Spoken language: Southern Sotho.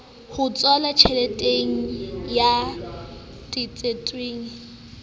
h tswala tjheleteng ya tsetetsweng